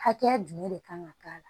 Hakɛya jumɛn de kan ka k'a la